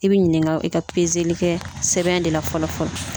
I bi ɲininka i ka kɛ sɛbɛn de la fɔlɔ fɔlɔ.